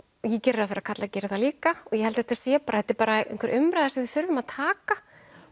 ég geri ráð fyrir að karlar geri það líka og ég held að þetta sé bara þetta er einhver umræða sem við þurfum að taka